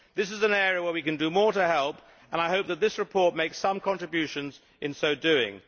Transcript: This is an area where we can do more to help, and I hope that this report makes some contributions in so doing.